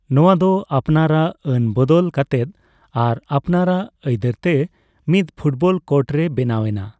ᱱᱚᱣᱟ ᱫᱚ ᱟᱯᱱᱟᱨᱟᱜ ᱟᱹᱱ ᱵᱚᱫᱚᱞ ᱠᱟᱛᱮᱫ ᱟᱨ ᱟᱯᱱᱟᱨᱟᱜ ᱟᱹᱭᱫᱟᱹᱨ ᱛᱮ ᱢᱤᱫ ᱯᱷᱩᱴᱵᱚᱞ ᱠᱳᱰ ᱨᱮ ᱵᱮᱱᱟᱣ ᱮᱱᱟ ᱾